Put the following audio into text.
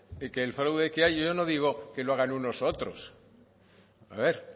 que el fraude que hay yo no digo que lo hagan unos u otros a ver